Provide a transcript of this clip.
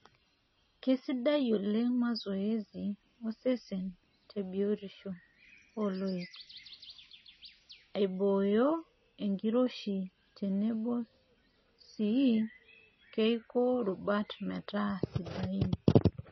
Keisidai oleng mazoezi osesen tebiotisho ooloik, aibooyo enkiroshi tenebo sii keiko rubat metaa sidain.